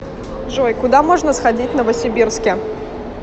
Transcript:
джой куда можно сходить в новосибирске